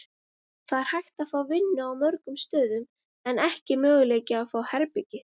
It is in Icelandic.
Það er hægt að fá vinnu á mörgum stöðum en ekki möguleiki að fá herbergi.